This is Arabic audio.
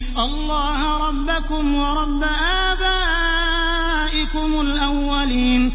اللَّهَ رَبَّكُمْ وَرَبَّ آبَائِكُمُ الْأَوَّلِينَ